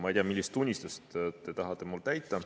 Ma ei tea, millist unistust te tahate mul täita.